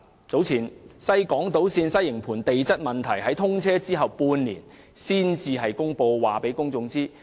早前，西港島線西營盤站的地質問題在通車前半年才知會公眾。